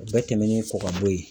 O bɛɛ tɛmɛnen kɔ ka bɔ yen